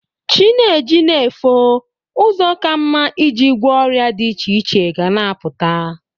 Chi na-eji na-efo, ụzọ ka mma i ji gwọ ọrịa dị iche iche ga na-apụta.